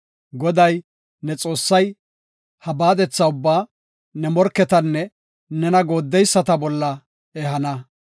Goday, ne Xoossay ha baadethata ubbaa ne morketanne nena gooddeyisata bolla ehana.